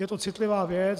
Je to citlivá věc.